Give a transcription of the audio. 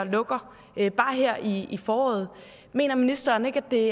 lukker bare her i i foråret mener ministeren ikke at det er